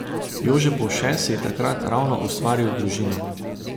Jože Povše si je takrat ravno ustvaril družino.